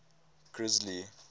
grisly